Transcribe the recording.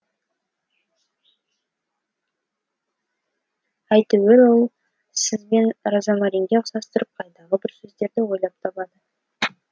әйтеуір ол сіз бен розмаринге ұқсастырып қайдағы бір сөздерді ойлап табады